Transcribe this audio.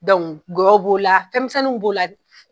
gɔyɔw b'o la fɛnmisɛnninw b'o la.